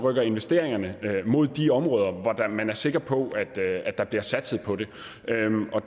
at investeringerne rykker mod de områder hvor man er sikker på at der bliver satset på det